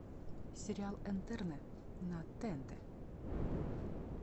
сериал интерны на тнт